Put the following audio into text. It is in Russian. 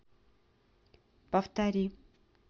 повтори